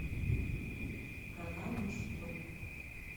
канал мужской